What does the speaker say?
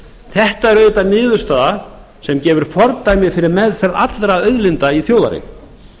þetta er auðvitað niðurstaða sem gefur fordæmi fyrir meðferð allra auðlinda í þjóðareign